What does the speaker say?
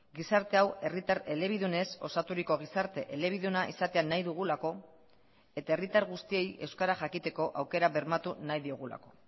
gizarte hau herritar elebidunez osaturiko gizarte elebiduna izatea nahi dugulako eta herritar guztiei euskara jakiteko aukera bermatu nahi diogulako